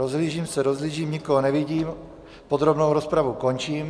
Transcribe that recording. Rozhlížím se, rozhlížím, nikoho nevidím, podrobnou rozpravu končím.